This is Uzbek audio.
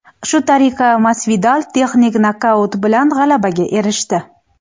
Shu tariqa Masvidal texnik nokaut bilan g‘alabaga erishdi.